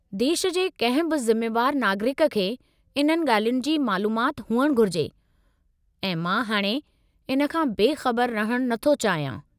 देश जे कंहिं बि ज़िमेवार नागरिक खे इन्हनि ॻाल्हियुनि जी मालूमाति हुअणु घुरिजे ऐं मां हाणे इन खां बेख़बरु रहणु नथो चाहियां।